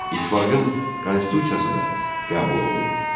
İttifaqın konstitusiyası da qəbul olundu.